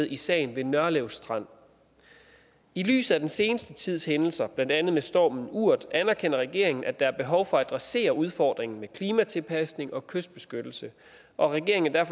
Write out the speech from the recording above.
i sagen ved nørlev strand i lyset af den seneste tids hændelser blandt andet med stormen urd anerkender regeringen at der er behov for at adressere udfordringen med klimatilpasning og kystbeskyttelse og regeringen er